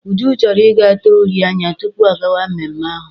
Uju chọrọ I ga tee uri anya tupu ọ gawa mmemme ahụ.